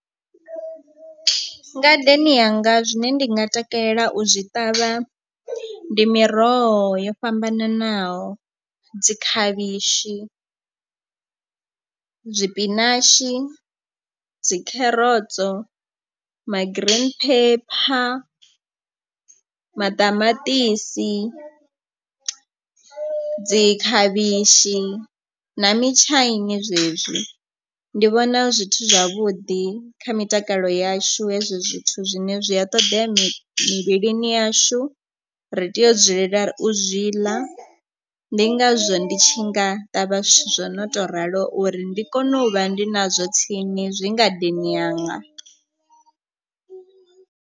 Ngadeni yanga zwine ndi nga takalela u zwi ṱavha ndi miroho yo fhambananaho dzi khavhishi, zwipinashi, dzi kherotso ma green pepper, maṱamaṱisi, dzi khavhishi na mitshaini zwezwi. Ndi vhona hu zwithu zwavhuḓi kha mitakalo yashu hezwo zwithu zwine zwi a ṱoḓea mivhilini yashu ri tea u dzulela u zwi ḽa. Ndi ngazwo ndi tshi nga ṱavha zwithu zwo no tou ralo uri ndi kone u vha ndi nazwo tsini zwi ngadeni yanga.